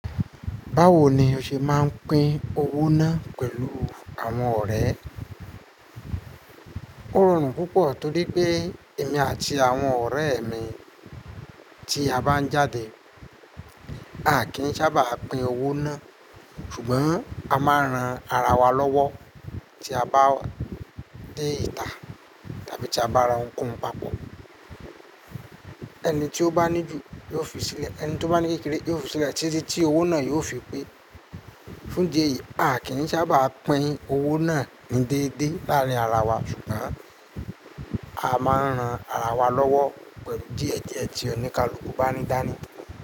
Báwo ni o ṣe máa ń pín owó náà pẹ̀lú àwọn ọ̀rẹ́? Ó rọrùn púpọ̀ torí pé èmi àti àwọn ọ̀rẹ́ mi tí a bá ń jáde, a kì í sábà pín owó náà, ṣùgbọ́n a máa ń ran ara wa lọ́wọ́ tí a bá dé ìta tàbí tí a bá ra ohun kohun papọ̀. Ẹni tí ó bá ní ju yóò fi sílẹ̀, ẹni tí ó bá ní kékeré yóò fi sílẹ̀ títí tí owó náà yóò fi pé. Fún idí ẹ̀yìí, a kì n sábà pín owó náà ni déédéé láàrín ara wa ṣùgbọ́n a máa ń ran ara wa lọ́wọ́ pẹ̀lú díẹ̀ díẹ̀ tí onìkaluku bá ní dáni.